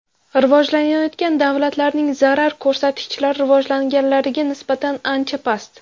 Rivojlanayotgan davlatlarning zarar ko‘rsatkichlari rivojlanganlariga nisbatan ancha past.